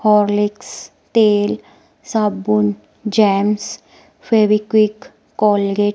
Horlicks तेल साबुन jams Fevikwik Colgate --